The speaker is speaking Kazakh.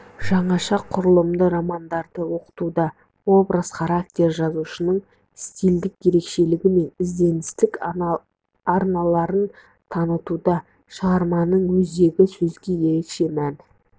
жаңаша құрылымды романдарды оқытуда образ характер жазушының стильдік ерекшелігі мен ізденістік арналарын танытуда шығарманың өзегі сөзге ерекше мән